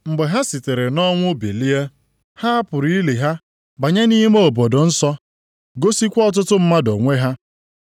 Mgbe ha sitere nʼọnwụ bilie, ha hapụrụ ili ha banye nʼime obodo nsọ, gosikwa ọtụtụ mmadụ onwe ha.